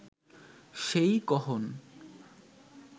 সেই কহন